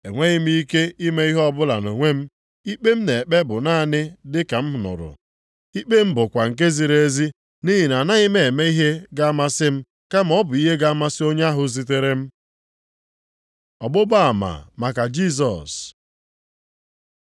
Enweghị m ike ime ihe ọbụla nʼonwe m, ikpe m na-ekpe bụ naanị dị ka m nụrụ, ikpe m bụkwa nke ziri ezi, nʼihi na anaghị m eme ihe ga-amasị m, kama ọ bụ ihe ga-amasị onye ahụ zitere m. Ọgbụgba ama maka Jisọs